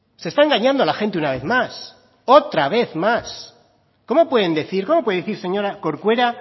se está engañando a la gente una vez más otra vez más cómo puede decir señora corcuera